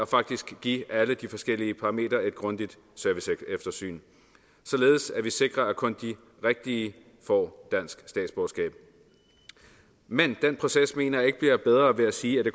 faktisk give alle de forskellige parametre et grundigt serviceeftersyn således at vi sikrer at kun de rigtige får dansk statsborgerskab men den proces mener jeg ikke bliver bedre ved at sige at